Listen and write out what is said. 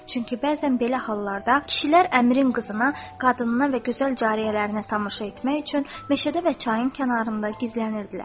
Çünki bəzən belə hallarda kişilər əmirin qızına, qadınına və gözəl cariyələrinə tamaşa etmək üçün meşədə və çayın kənarında gizlənirdilər.